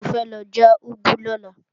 Mo fẹ́ lọ já úgú lọ́la